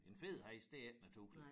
En fed hest det ikke naturligt